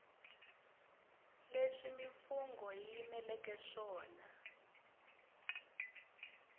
leswi mimfungho yi yimeleke swona